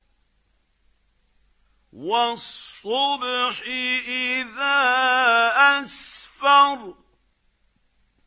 وَالصُّبْحِ إِذَا أَسْفَرَ